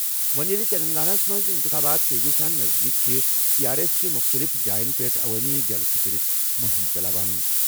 وۄنۍ ییٚلہِ تیٚلنٛگاناہس منٛز اِنتِخابات تیزی سان نزدیٖک چھِ، ٹی آر ایٚس چھےٚ مُختٔلِف جایَن پٮ۪ٹھ عوٲمی جلسہٕ کٔرِتھ مُہِم چلاوان۔